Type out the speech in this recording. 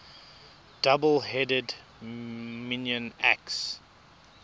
double headed minoan axe